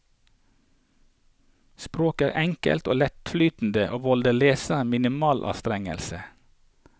Språket er enkelt og lettflytende og volder leseren minimal anstrengelse.